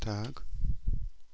так